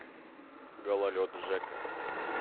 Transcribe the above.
гололед жека